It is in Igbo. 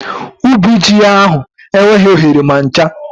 Ubi ji ya ahụ enweghị oghere ma ncha